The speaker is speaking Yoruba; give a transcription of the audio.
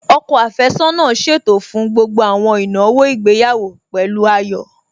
Ọkọ àfẹ́sọ́nà ṣètò fún gbogbo àwọn ìnáwó ìgbéyàwó pẹ̀lú ayọ̀